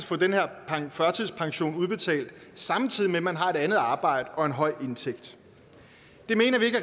få den her førtidspension udbetalt samtidig med at man har et andet arbejde og en høj indtægt